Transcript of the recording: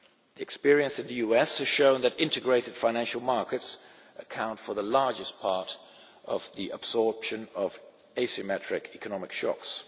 The experience in the US has shown that integrated financial markets account for the largest part of the absorption of asymmetric economic shocks.